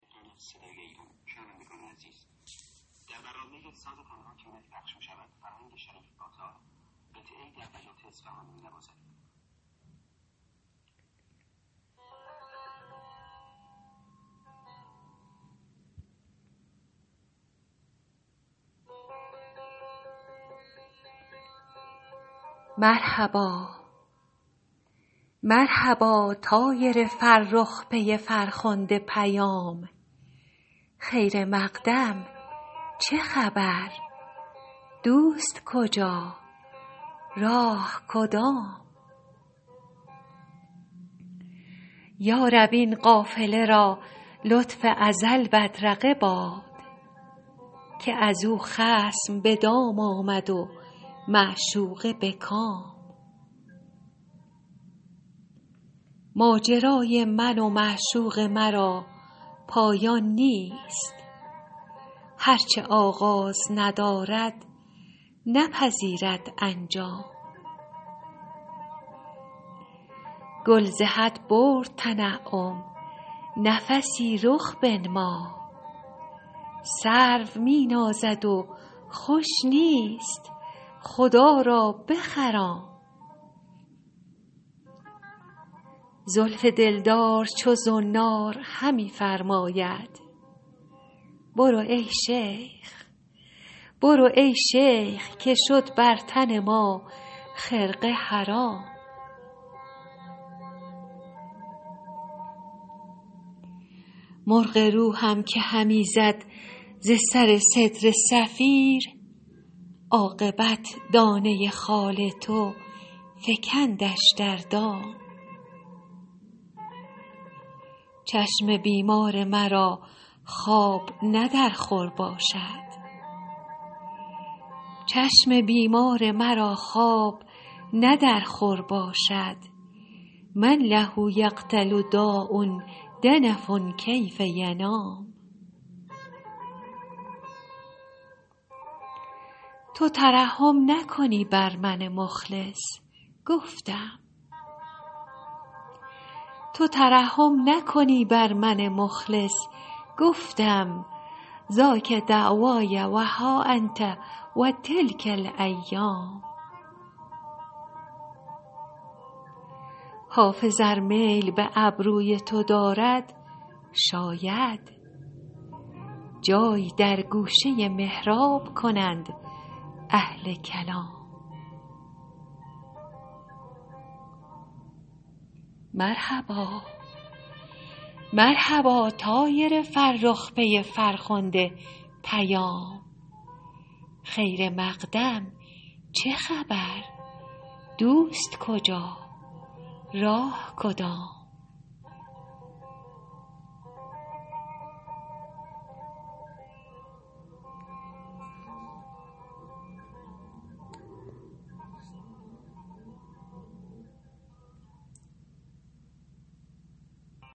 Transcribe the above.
مرحبا طایر فرخ پی فرخنده پیام خیر مقدم چه خبر دوست کجا راه کدام یا رب این قافله را لطف ازل بدرقه باد که از او خصم به دام آمد و معشوقه به کام ماجرای من و معشوق مرا پایان نیست هر چه آغاز ندارد نپذیرد انجام گل ز حد برد تنعم نفسی رخ بنما سرو می نازد و خوش نیست خدا را بخرام زلف دلدار چو زنار همی فرماید برو ای شیخ که شد بر تن ما خرقه حرام مرغ روحم که همی زد ز سر سدره صفیر عاقبت دانه خال تو فکندش در دام چشم بیمار مرا خواب نه در خور باشد من له یقتل داء دنف کیف ینام تو ترحم نکنی بر من مخلص گفتم ذاک دعوای و ها انت و تلک الایام حافظ ار میل به ابروی تو دارد شاید جای در گوشه محراب کنند اهل کلام